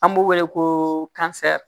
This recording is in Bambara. An b'u wele ko